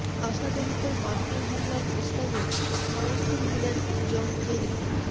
আসাদের ওপর মার্কিন হামলার প্রস্তাবে সমর্থন দিলেন জন কেরি